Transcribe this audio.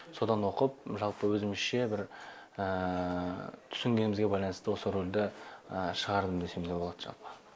содан оқып жалпы өзімізше бір түсінгенімізге байланысты осы рөлді шығардым десем де болады жалпы